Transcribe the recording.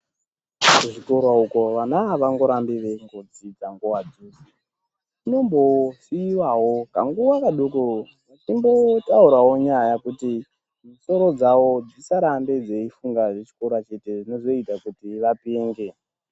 Kuzvikora uko vana avangorambi veingodzidza nguwa dzeshe vanombosiiwawo kanguwa kadoko veimbotaurawo nyaya kuti misoro dzawo dzisarambe dzeifunga zvechikora chete zvinozoita vapenge.